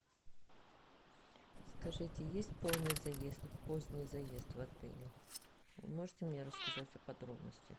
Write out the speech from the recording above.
скажите есть полный заезд поздний заезд в отеле можете мне рассказать о подробностях